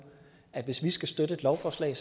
at hvis vi skal støtte et lovforslag